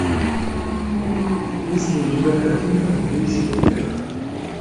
есть ли у тебя картина добейся успеха